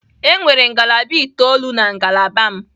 Enwere ngalaba itoolu na ngalaba m.